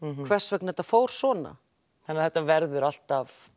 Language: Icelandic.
hvers vegna þetta fór svona þannig það verður alltaf